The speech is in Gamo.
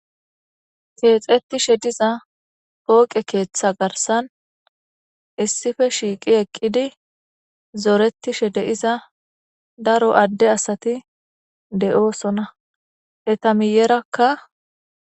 keexetishe diza pooqe keeththa garsan issife shiiqi eqqidi zoretishe de7iza daro adde asati de7oosona eta miyerakka